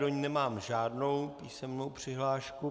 Do ní nemám žádnou písemnou přihlášku.